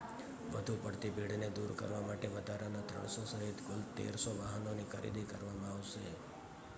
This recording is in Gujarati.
વધુ પડતી ભીડને દૂર કરવા માટે વધારાના 300 સહિત કુલ 1,300 વાહનોની ખરીદી કરવામાં આવશે